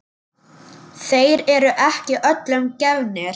Þeir eru ekki öllum gefnir.